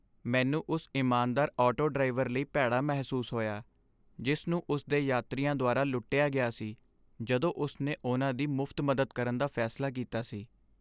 ਮੈਨੂੰ ਉਸ ਇਮਾਨਦਾਰ ਆਟੋ ਡਰਾਈਵਰ ਲਈ ਭੈੜਾ ਮਹਿਸੂਸ ਹੋਇਆ, ਜਿਸ ਨੂੰ ਉਸ ਦੇ ਯਾਤਰੀਆਂ ਦੁਆਰਾ ਲੁੱਟਿਆ ਗਿਆ ਸੀ ਜਦੋਂ ਉਸ ਨੇ ਉਨ੍ਹਾਂ ਦੀ ਮੁਫ਼ਤ ਮਦਦ ਕਰਨ ਦਾ ਫੈਸਲਾ ਕੀਤਾ ਸੀ।